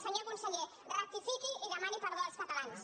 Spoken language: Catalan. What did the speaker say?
senyor conseller rectifiqui i demani perdó als catalans